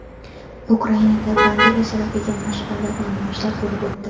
Ukrainada Bandera sharafiga mash’alli namoyishlar bo‘lib o‘tdi.